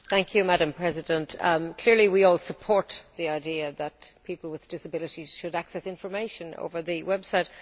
Madam President, clearly we all support the idea that people with disabilities should access information over the website.